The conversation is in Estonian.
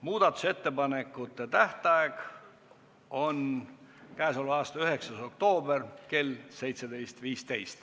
Muudatusettepanekute tähtaeg on k.a 9. oktoober kell 17.15.